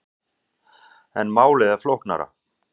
En málið er flóknara.